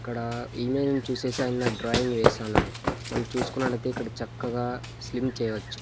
ఇక్కడా ఏమేమ్ చూసేసైనా డ్రాయింగ్ వేసన్నాడు మనం చూసుకున్నట్లయితే ఇక్కడ చక్కగా స్లిమ్ చేయొచ్చు.